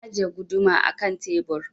Na ajiye guduma a ƙan tebur.